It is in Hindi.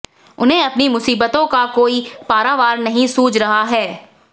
उन्हें अपनी मुसीबतों का कोई पारावार नहीं सूझ रहा है